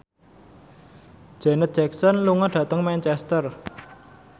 Janet Jackson lunga dhateng Manchester